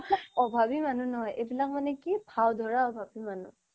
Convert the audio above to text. অভাৱি মানুহ নহয় এইবিলাক মানে কি ভাওঁ ধৰা অভাৱি মানুহ